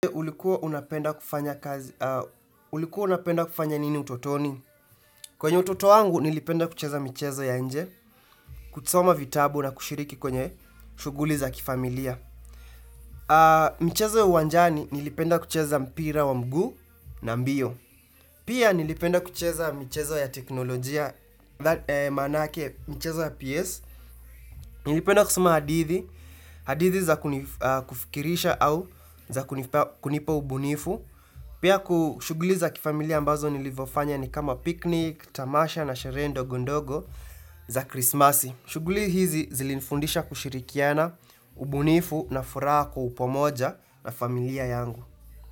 Ulikuwa unapenda kufanya kazi, ulikuwa unapenda kufanya nini utotoni? Kwenye utoto wangu nilipenda kucheza michezo ya nje, kusoma vitabu na kushiriki kwenye shughuli za kifamilia. Michezo ya uwanjani nilipenda kucheza mpira wa mguu na mbio. Pia nilipenda kucheza michezo ya teknolojia, maanake, michezo ya PS. Nilipenda kusoma hadithi, hadithi za kunifikirisha au za kunipa ubunifu. Pia kushuguliza kifamilia ambazo nilivyofanya ni kama picnic, tamasha na sherehe ndogondogo za krismasi. Shughuli hizi zilinifundisha kushirikiana, ubunifu na furaha kwa upamoja na familia yangu.